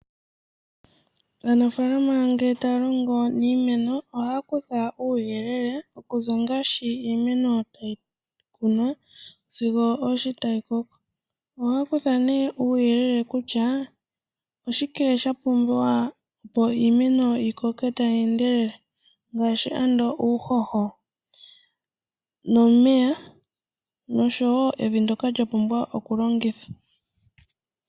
Aanafalama ngele taya longo niimeno oha kutha uuyelele okuza ngaashi nkene iimeno tayi kunwa sigo osho tayi koko. Oha kutha nee uuyelele kutya oshike sha pumbiwa opo iimeno yimene tayi endelele ngaashi ando uuhoho, nomeya noshowo evi ndjoka lya pumbwa oku longithwa.